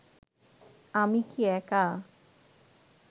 আমি কি একা